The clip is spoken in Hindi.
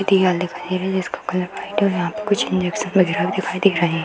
दिखाई दे रही है जिसका कलर व्हाइट है और यहाँ पे कुछ इंजेक्शन वगैरा भी दिखाई दे रहे हैं।